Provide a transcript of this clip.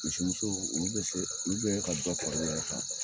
Misimuso olu bɛ se, olu bɛ ka ban kɔrɔlen yɛrɛ kan.